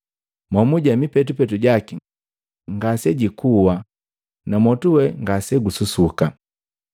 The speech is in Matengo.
Momuje mipetupetu jaki ngasejikua na mwotu we ngasegususuka.